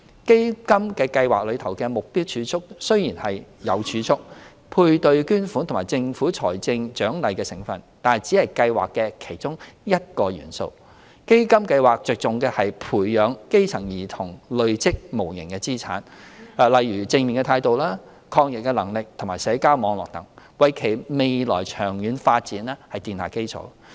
基金計劃中的"目標儲蓄"雖然有儲蓄、配對捐款及政府財政獎勵的成分，但只是計劃的其中一個元素。基金計劃着重的是培養基層兒童累積無形資產，例如正面態度、抗逆能力及社交網絡等，為其未來長遠發展奠下基礎。